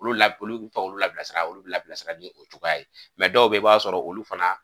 Olu la, olu bɛ taa olu la labilasira ni o cogoya ye, dɔw bɛ ye i b'a sɔrɔ olu fana.